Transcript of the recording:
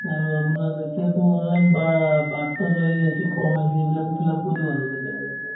আৰু আপোনাৰ এতিয়াতো online বা ~ birth ৰ এই আহিছে যি form আহিছে সেইবিলাকো fill up কৰো আৰু কেতিয়াবা কেতিয়াবা